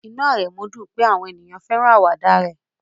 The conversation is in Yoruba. Inú Aremu dùn pé àwọn ènìyàn fẹ́ràn àwàdà rẹ̀